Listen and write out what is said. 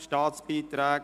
Staatsbeiträge.